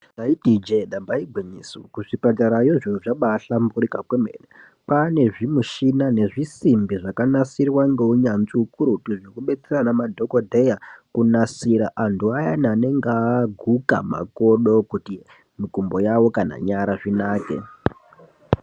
Taiti Ije damba igwinyiso kuzvipatara zviro zvabahlamburuka kwemene kwane zvimushini nezvisimbi zvakanasirwa neunyanzvi ukurutu zvekudetsera Madhokodheya kunasira antu ayani anonga aguka makodo kuita kana nyara zvinake.